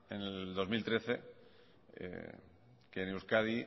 en el dos mil trece que en euskadi